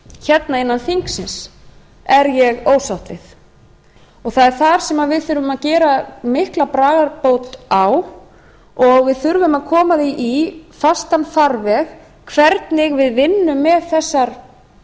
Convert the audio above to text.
hérna innan þingsins er ég ósátt við og það er þar sem við þurfum að gera mikla bragarbót á og við þurfum að koma því í fastan farveg hvernig við vinnum með þessar